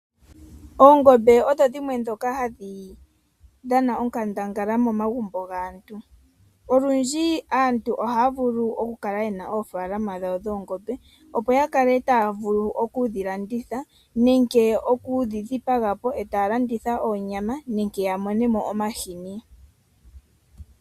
Oongombe odho dhimwe dhoka hadhi dhana onkandanga momagumbo gaantu. Olundji aantu ohaya vulu oku kala yena oofalama dhawo dhoongombe. Opo ya kale taya vulu okudhi landitha nenge okudhi dhipaga po etaya landitha oonyama nenge ya monemo omahini.